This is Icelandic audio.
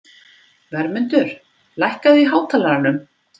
Vermundur, lækkaðu í hátalaranum.